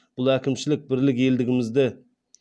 бұл әкімшілік бірлік елдігімізді